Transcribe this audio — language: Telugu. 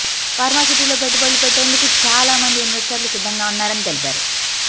ఫార్మా సిటీలో పెట్టుబడులు పెట్టేందుకు చాలా మంది ఇన్వెస్టర్లు సిద్ధంగా ఉన్నారని తెలిపారు